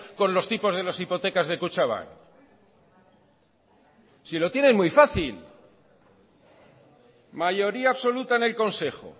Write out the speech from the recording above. con los tipos de las hipotecas de kutxabank si lo tiene muy fácil mayoría absoluta en el consejo